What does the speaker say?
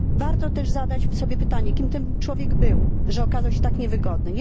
Warto też zadać sobie pytanie, kim był ten człowiek, że okazał się tak niewygodny.